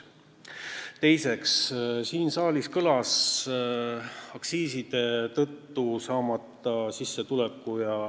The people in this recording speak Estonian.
Teiseks, siin saalis mainiti aktsiiside tõttu saamata jäänud sissetulekut.